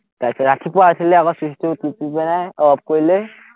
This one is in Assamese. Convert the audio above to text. তাৰপিচত ৰাতিপুৱা উঠিলে আকৌ চুইচটো টিপি পিনে অফ কৰিলৈ